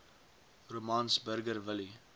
romans burger willie